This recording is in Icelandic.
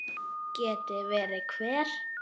Geti verið hver?